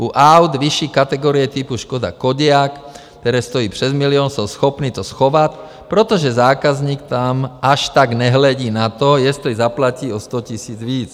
U aut vyšší kategorie typu Škoda Kodiaq, které stojí přes milion, jsou schopny to schovat, protože zákazník tam až tak nehledí na to, jestli zaplatí o 100 000 víc.